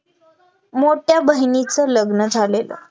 मोठ्या बहिणीचा लग्न झालेलं